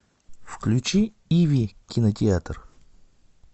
включи иви кинотеатр